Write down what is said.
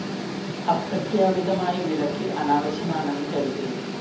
അപ്രഖ്യാപിതമായ വിലക്ക് അനാവശ്യമാണെന്ന് കരുതുന്നു